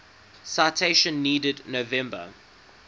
citation needed november